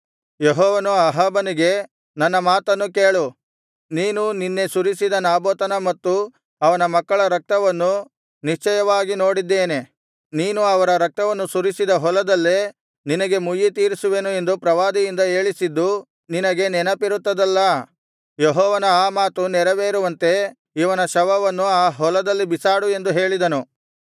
ಯೆಹೋವನು ಅಹಾಬನಿಗೆ ನನ್ನ ಮಾತನ್ನು ಕೇಳು ನೀನು ನಿನ್ನೆ ಸುರಿಸಿದ ನಾಬೋತನ ಮತ್ತು ಅವನ ಮಕ್ಕಳ ರಕ್ತವನ್ನು ನಿಶ್ಚಯವಾಗಿ ನೋಡಿದ್ದೇನೆ ನೀನು ಅವರ ರಕ್ತವನ್ನು ಸುರಿಸಿದ ಹೊಲದಲ್ಲೇ ನಿನಗೆ ಮುಯ್ಯಿತೀರಿಸುವೆನು ಎಂದು ಪ್ರವಾದಿಯಿಂದ ಹೇಳಿಸಿದ್ದು ನಿನಗೆ ನೆನಪಿರುತ್ತದಲ್ಲಾ ಯೆಹೋವನ ಆ ಮಾತು ನೆರವೇರುವಂತೆ ಇವನ ಶವವನ್ನು ಆ ಹೊಲದಲ್ಲಿ ಬಿಸಾಡು ಎಂದು ಹೇಳಿದನು